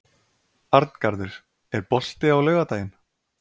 Arngarður, er bolti á laugardaginn?